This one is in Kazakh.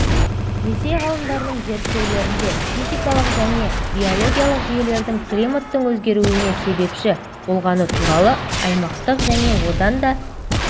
ресей ғалымдарының зерттеулерінде физикалық және биологиялық жүйелердің климаттың өзгеруіне себепші болғаны туралы аймақтық және одан да